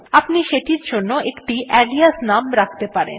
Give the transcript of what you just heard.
আপনি সেটির জন্য একটি আলিয়াস নাম রাখতে পারেন